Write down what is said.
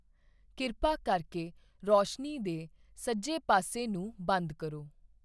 ਕਿਰਪਾ ਕਰਕੇ ਰੋਸ਼ਨੀ ਦੇ ਸੱਜੇ ਪਾਸੇ ਨੂੰ ਬੰਦ ਕਰੋ